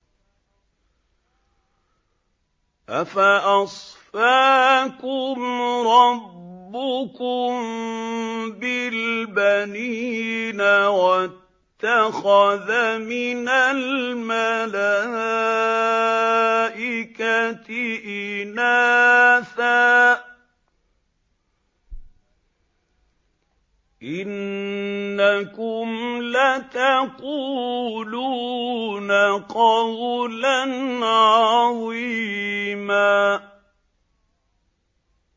أَفَأَصْفَاكُمْ رَبُّكُم بِالْبَنِينَ وَاتَّخَذَ مِنَ الْمَلَائِكَةِ إِنَاثًا ۚ إِنَّكُمْ لَتَقُولُونَ قَوْلًا عَظِيمًا